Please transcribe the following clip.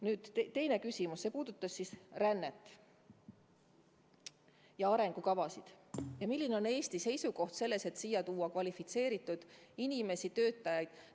Nüüd teine küsimus, mis puudutas rännet ja arengukavasid ning seda, milline on Eesti seisukoht selles, et siia tuua kvalifitseeritud töötajaid.